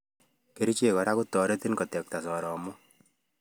Kerichek kora kotareti kotekta soromoik